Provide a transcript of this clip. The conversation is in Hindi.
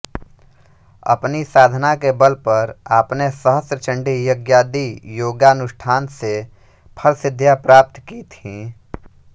अपनी साधना के बल पर आपने सहस्त्र चंडी यज्ञादि योगानुष्ठान से फलसिद्धियां प्राप्त की थीं